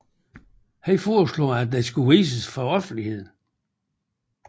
Han foreslog at den skulle vises for offentligt